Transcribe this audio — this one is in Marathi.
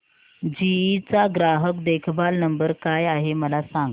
जीई चा ग्राहक देखभाल नंबर काय आहे मला सांग